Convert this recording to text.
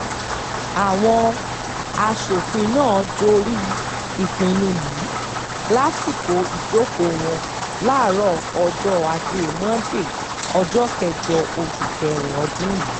àwọn aṣòfin náà dórí ìpinnu yìí lásìkò ìjókòó wọn láàárọ̀ ọjọ́ ajé monde ọjọ́ kẹjọ oṣù kẹrin ọdún yìí